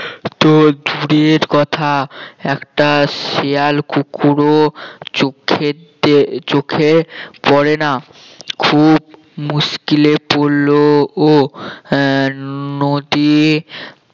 তো দূরের কথা একটা শেয়াল কুকুরও চোখে দে চোখে পড়ে না খুব মুশকিলে পড়লো ও আহ নদী